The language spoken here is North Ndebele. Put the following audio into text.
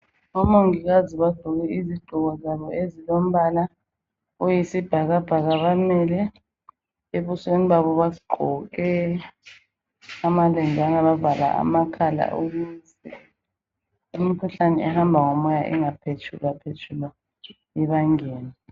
Omongikazi bagqoke izigqoko zabo ezilombala oyisibhakabhaka, bamile, ebusweni babo bagqoke amalenjana bavala amakhala ukuze imikhuhlane ehamba ngomoya ingaphetshulwaphetshulwa ibangene.